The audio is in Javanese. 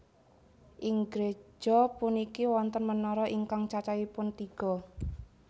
Ing gréja puniki wonten menara ingkang cacahipun tiga